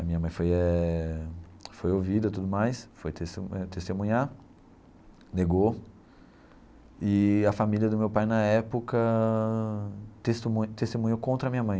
A minha mãe foi eh foi ouvida, tudo mais, foi testemu eh testemunhar, negou, e a família do meu pai na época testemu testemunhou contra a minha mãe.